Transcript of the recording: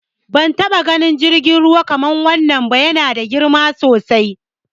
Ban taɓa ganin jirgin ruwa kamar wannan ba, ya na da girma sosai.